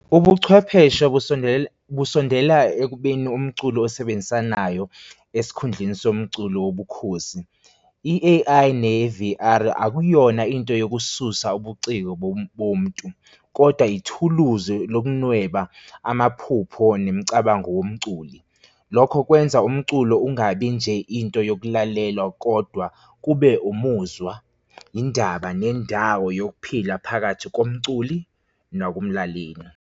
Ubuchwepheshe kusondele, busondela ekubeni umculo esebenzisanayo esikhundleni somculo yobukhosi. I-A_I ne ne-V_R akuyona into yokususa ubuciko bomntu, kodwa ithuluzi lokunweba amaphupho nemicabango womculi. Lokho kwenza umculo ungabi nje into yokulalelwa kodwa kube umuzwa indaba nendawo yokuphila phakathi komculi nakumlaleli.